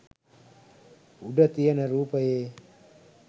උඩ තියන රූපයේ